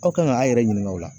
Aw kan ka a' yɛrɛ ɲiniŋa o la.